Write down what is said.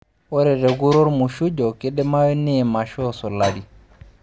ore te kura olmuchujo, keidimayu niim aashu isulari.